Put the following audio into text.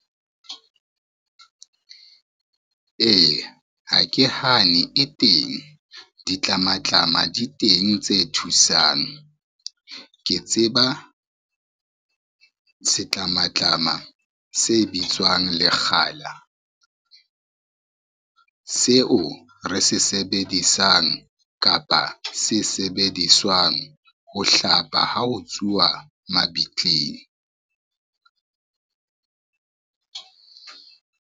Eya, ha ke hane e teng, ditlamatlama di teng tse thusang. Ke tseba setlamatlama se bitswang lekgala, seo re se sebedisang kapa se sebediswang ho hlapa ha ho tsuwa mabitleng.